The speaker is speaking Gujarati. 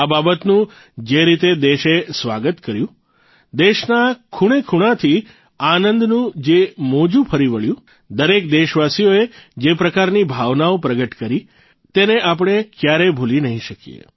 આ બાબતનું જે રીતે દેશે સ્વાગત કર્યું દેશના ખૂણેખૂણાથી આનંદનું જે મોજું ફરી વળ્યું દરેક દેશવાસીએ જે પ્રકારની ભાવનાઓ પ્રગટ કરી તેને આપણે કયારેય ભૂલી નહીં શકીએ